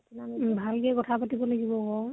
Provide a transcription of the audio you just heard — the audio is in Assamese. উম । ভাল কে কথা পাতিব লাগিব আকৌ